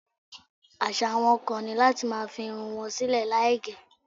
Àṣà àwọn kan ni láti máa fi irun wọn sílè láì gẹ̀.